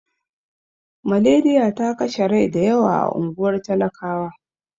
Maleriya ta kashe rai da yawa a unguwar talakawa.